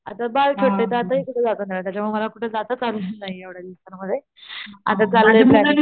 आता बाळ छोटय त्यातही कुठं जात नाही आलं त्याच्यामुळं मला कुठं जाताच आलं नाहीये एवढ्या दिवसांमध्ये आता चाललंय प्लॅनिंग,